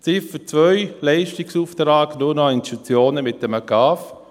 Ziffer 2, Leistungsauftrag nur noch an Institutionen mit einem GAV: